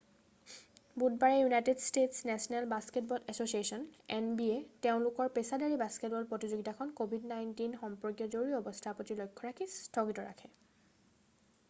বুধবাৰে United States National Basketball এছ’চিয়েশ্যনে nba তেওঁলোকৰ পেছাদাৰী বাস্কেটবল প্ৰতিযোগিতাখনি covid-19 সম্পৰ্কীয় জৰুৰী অৱস্থাৰ প্ৰতি লক্ষ্য ৰাখি স্থগিত ৰাখে।